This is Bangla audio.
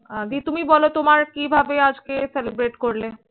আগে তুমি বলো তোমার কিভাবে আজকে celebrate করলে?